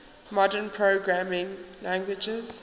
modern programming languages